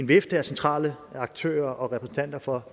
vifte af centrale aktører og repræsentanter fra